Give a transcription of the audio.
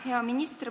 Hea minister!